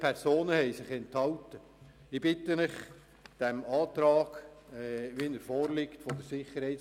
Ich bitte Sie, dem Antrag der SiK zu folgen.